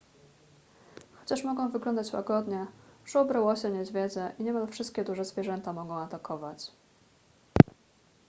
chociaż mogą wyglądać łagodnie żubry łosie niedźwiedzie i niemal wszystkie duże zwierzęta mogą atakować